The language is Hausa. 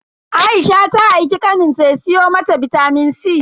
Aisha ta aiki kaninta ya siyo mata bitamin C.